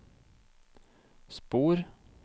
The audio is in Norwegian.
spor